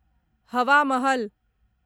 हवा महल